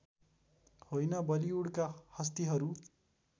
होइन बलीवुडका हस्तिहरू